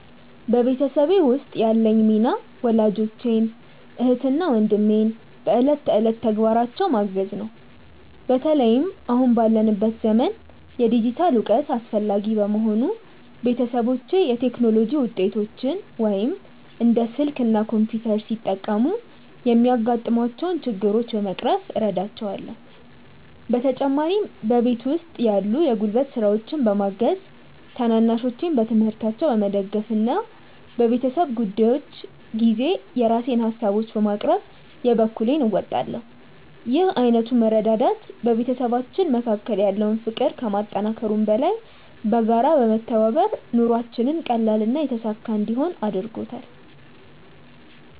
በቤተሰቤ ውስጥ ያለኝ ሚና ወላጆቼን፣ እህትና ወንድሜን በዕለት ተዕለት ተግባራቸው ማገዝ ነው። በተለይም አሁን ባለንበት ዘመን የዲጂታል እውቀት አስፈላጊ በመሆኑ፣ ቤተሰቦቼ የቴክኖሎጂ ውጤቶችን (እንደ ስልክ እና ኮምፒውተር) ሲጠቀሙ የሚያጋጥሟቸውን ችግሮች በመቅረፍ እረዳቸዋለሁ። በተጨማሪም በቤት ውስጥ ያሉ የጉልበት ስራዎችን በማገዝ፣ ታናናሾቼን በትምህርታቸው በመደገፍ እና በቤተሰብ ጉዳዮች ጊዜ የራሴን ሃሳቦችን በማቅረብ የበኩሌን እወጣለሁ። ይህ ዓይነቱ መረዳዳት በቤተሰባችን መካከል ያለውን ፍቅር ከማጠናከሩም በላይ፣ በጋራ በመተባበር ኑሯችንን ቀላልና የተሳካ እንዲሆን አድርጎታል።